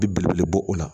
Bi belebele bɔ o la